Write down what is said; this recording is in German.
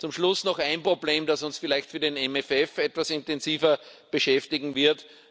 Zum Schluss noch ein Problem, das uns vielleicht für den MFF etwas intensiver beschäftigen wird.